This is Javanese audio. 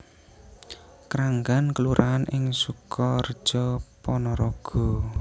Kranggan kelurahan ing Sukareja Panaraga